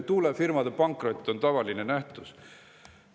Tuulefirmade pankrot on tavaline nähtus.